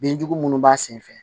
Binjugu minnu b'a senfɛ